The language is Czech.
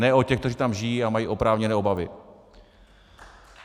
Ne o těch, kteří tam žijí a mají oprávněné obavy.